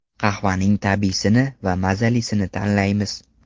Qahvaning tabiiysini va mazalisini tanlaymiz.